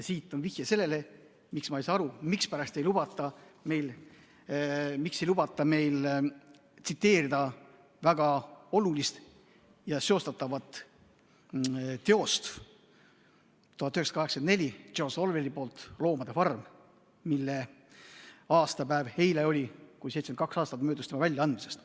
See on vihje sellele, miks ma ei saa aru, mispärast ei lubata meil tsiteerida väga olulist ja seostatavat teost, George Orwelli "Loomade farmi", mille aastapäev oli eile, kui 72 aastat möödus selle väljaandmisest.